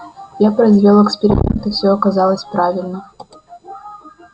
я произвёл эксперимент и все оказалось правильно